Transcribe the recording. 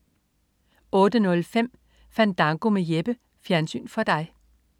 08.05 Fandango med Jeppe. Fjernsyn for dig